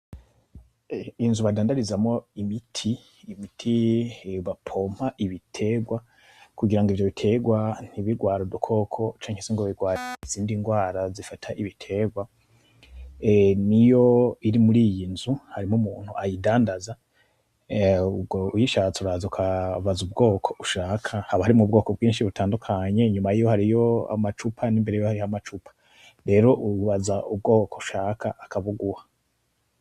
Inzu badandarizamwo imiti , imiti bapompa ibiterwa kugira ivyo biterwa ntibirware udukoko canke se birware izindi rwara zifata ibiterwa, niyo iri muriyinzu. Harimwo umuntu ayidandaza ubwo uyishatse uraza ubaza ubwoko ushaka, haba harimwo ubwoko bwinshi butandukanye nyuma yiyo hariho amacupa nimbere yaho hariho none ubu ubaza ubwoko ushaka akabuguha.